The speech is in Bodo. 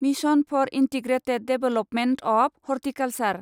mission for integrated development of horticulture